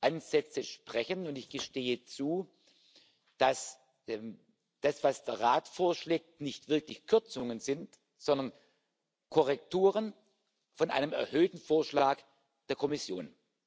die Ansätze sprechen, und ich gestehe zu, dass das, was der Rat vorschlägt, nicht wirklich Kürzungen sind, sondern Korrekturen von einem erhöhten Vorschlag der Kommission.